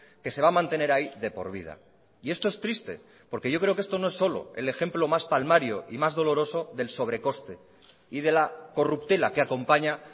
que se va a mantener ahí de por vida y esto es triste porque yo creo que esto no es solo el ejemplo más palmario y más doloroso del sobrecoste y de la corruptela que acompaña